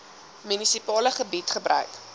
munisipale gebied gebruik